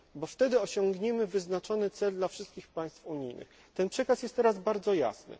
celom. Wtedy osiągniemy cel wyznaczony dla wszystkich państw unijnych. Przekaz ten jest teraz bardzo